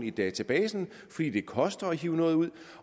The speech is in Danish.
i databasen fordi det koster at hive noget ud